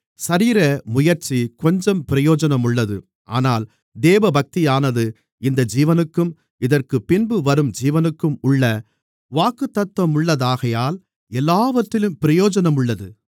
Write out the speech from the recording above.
சரீரமுயற்சி கொஞ்சம் பிரயோஜனமுள்ளது ஆனால் தேவபக்தியானது இந்த ஜீவனுக்கும் இதற்குப்பின்பு வரும் ஜீவனுக்கும் உள்ள வாக்குத்தத்தமுள்ளதாகையால் எல்லாவற்றிலும் பிரயோஜனமுள்ளது